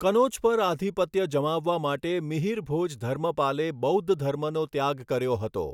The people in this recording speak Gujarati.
કનોજ પર આધિપત્ય જમાવવા માટે મિહરિભોજ ધર્મપાલે બૌદ્ધધર્મનો ત્યાગ કર્યો હતો.